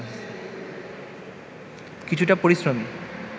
কিছুটা পরিশ্রমী